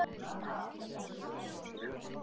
Það er eitt sem víst er.